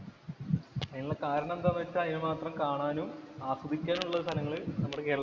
അതിനുള്ള കാരണം എന്താന്ന് വച്ചാല്‍ അതിനു വേണ്ടി മാത്രം കാണാനും, ആസ്വദിക്കാനും നമ്മുടെ കേരളത്തില്‍